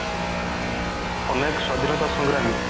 ଅନେକ ସ୍ଵାଧୀନତା ସଂଗ୍ରାମୀ